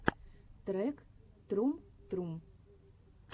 трек трум трум